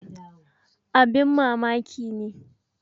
Abin mamaki ne!